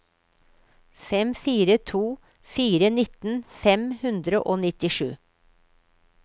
fem fire to fire nitten fem hundre og nittisju